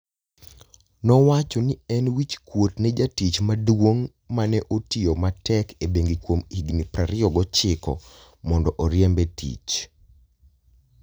Nowacho ni ne en wichkuot ne jatich maduong' ma ne otiyo matek e bengi kuom higini 29, mondo oriembe e tich.